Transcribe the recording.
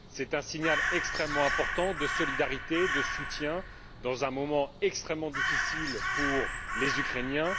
C'est un signal extrêmement important de solidarité et de soutien dans un moment extrêmement difficile pour les Ukrainiens.